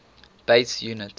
base units